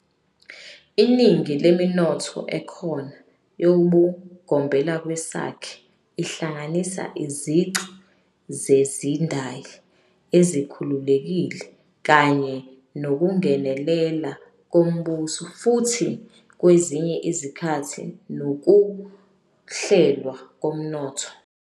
Iningi leminotho ekhona yobugombelakwesakhe ihlanganisa izici zezindayi ezikhululekile kanye nokungenelela kombuso futhi kwezinye izikhathi nokuhlelwa komnotho.